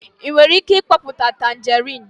ị nwere ike mkpoputa tanjerịn?